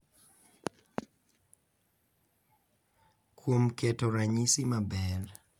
Kuom keto ranyisi maber,